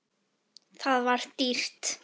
Það var dýrt.